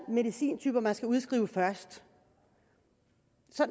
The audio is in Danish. medicintyper man skal udskrive først